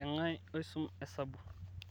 kangae osum hesabu